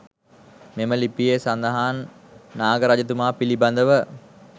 මෙම ලිපියේ සඳහන් වන නාග රජතුමා පිළිබඳව